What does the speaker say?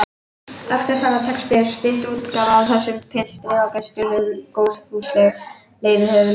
Eftirfarandi texti er stytt útgáfa af þessum pistli og birtur með góðfúslegu leyfi höfundar.